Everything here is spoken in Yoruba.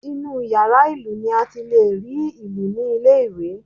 Inú yàrá ìlù ni a ti lè rí ìlù ní ilé ìwé